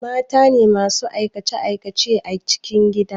Matane masu aikace aikace a cikin gida